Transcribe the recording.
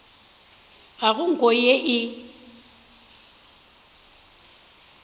ga go nko ye e